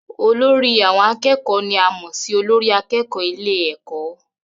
Olórí àwọn akẹ́kọ̀ọ́ ni a mọ̀ sí olórí akẹ́kọ̀ọ́ ilé ẹ̀kọ́